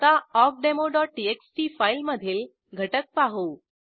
आता awkdemoटीएक्सटी फाईलमधील घटक पाहू